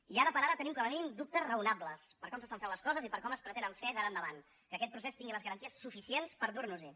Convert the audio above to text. i ara per ara tenim com a mínim dubtes raonables per com s’estan fent les coses i per com es pretenen fer d’ara endavant que aquest procés tingui les garanties suficients per dur nos hi